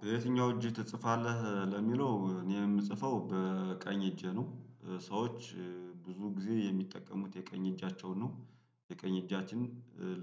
በየትኛው እጅ ትጽፋለህ? እ ለሚለው እኔ የምጽፈው በቀኝ እጄ ነው ሰዎች ብዙ ጊዜ የሚጠቀሙት የቀኝ እጃቸውን ነው የቀኝ እጃችን